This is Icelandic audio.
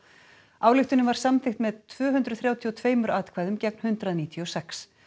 ályktunin var samþykkt með tvö hundruð þrjátíu og tveimur atkvæðum gegn hundrað níutíu og sex